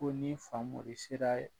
Ko ni Famori sera